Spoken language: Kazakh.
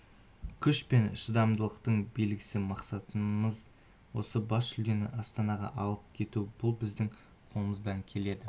күш пен шыдамдылықтың белгісі мақсатымыз осы бас жүлдені астанаға алып келу бұл біздің қолымыздан келеді